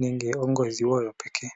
nenge ongodhi wo yopeke.